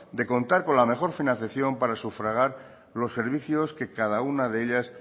de contar con la mejor financiación para sufragar los servicios que cada una de ellas